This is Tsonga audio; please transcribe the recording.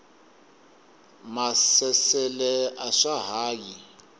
maasesele a swa ha yi